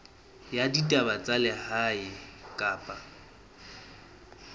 ya ditaba tsa lehae kapa